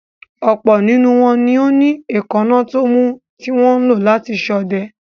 Ọ̀pọ̀ nínú wọn ni ó ní èékánná tómú tí wọn ń lò láti ṣọdẹ.